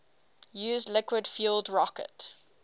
used liquid fueled rocket